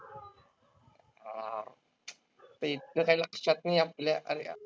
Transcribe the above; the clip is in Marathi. ते इतकं काय लक्षात नाही आपल्या. अर